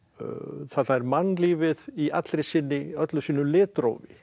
þarna er mannlífið í öllu sínu litrófi